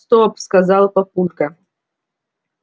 стоп сказал папулька